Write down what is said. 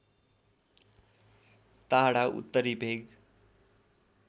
टाढा उत्तरी भेग